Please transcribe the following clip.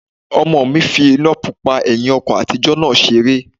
Ọmọ fi iná pupa ẹ̀hìn ọkọ̀ àtijọ́ náà seré